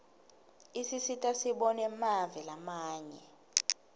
isisita sibone mave lamanye